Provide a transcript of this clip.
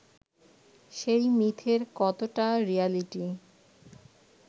সেই মিথের কতটা রিয়ালিটি